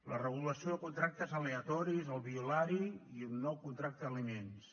la regulació de contractes aleatoris el violari i un nou contracte d’aliments